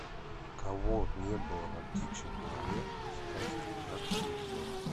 кого не было на птичьем дворе в сказке гадкий утенок